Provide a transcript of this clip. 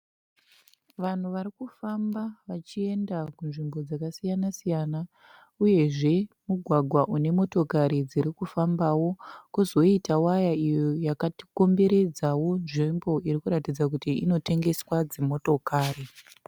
Vanhu vari kufamba vachienda kunzvimbo dzakasiya siyana uyezve mugwagwa une motokari dziri kufambawo kwozoitawo waya iyo yakakomberedzawo nzvimbo iri kuratidza kuti inotengeswa dzimotokari.